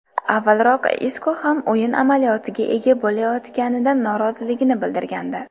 Avvalroq Isko kam o‘yin amaliyotiga ega bo‘layotganidan noroziligini bildirgandi .